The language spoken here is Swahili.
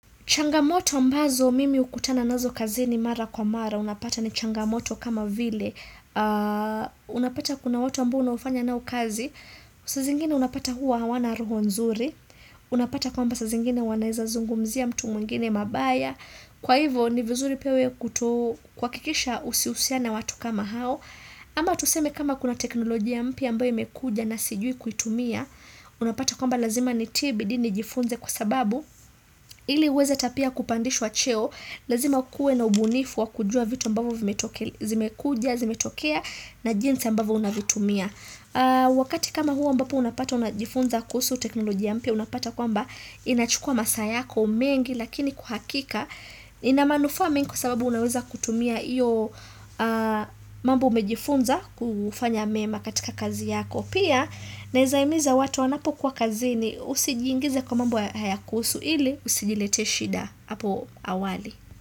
Changamoto ambazo mimi hukutana nazo kazini mara kwa mara. Unapata ni changamoto kama vile. Unapata kuna watu ambao unafanya nao kazi. Saa zingine unapata hua hawana roho nzuri. Unapata kwamba saa zingine wanaeza zungumzia mtu mwingine mabaya. Kwa hivo ni vizuri pia we kuto kuhakikisha usihusiane watu kama hao. Ama tuseme kama kuna teknolojia mpya ambayo imekuja na sijui kuitumia Unapata kwamba lazima nitie bidii ni jifunze kwa sababu ili uweze ata pia kupandishwa cheo Lazima ukue na ubunifu wa kujua vitu mbavu zimekuja, zimetokea na jinsi ambavyo unavitumia Wakati kama huo ambapo unapata unajifunza kuhusu teknolojia mpya Unapata kwamba inachukua masaa yako mengi Lakini kwa uhakika ina manufaa mingi kwa sababu unaweza kutumia iyo mambo umejifunza kufanya mema katika kazi yako pia naeza imiza watu wanapo kuwa kazini usijingize kwa mambo hayakuhusu ili usijilete shida hapo awali.